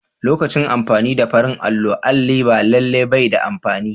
Lokacin amfani da farin allo, alli ba lallai bai da amfani.